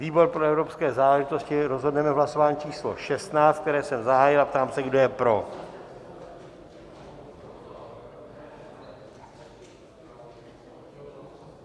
Výbor pro evropské záležitosti rozhodneme v hlasování číslo 16, které jsem zahájil, a ptám se, kdo je pro.